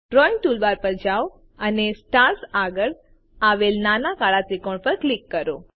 drawing toolbar પર જાઓ અને સ્ટાર્સ આગળ આવેલ નાના કાળા ત્રિકોણ પર ક્લિક કરો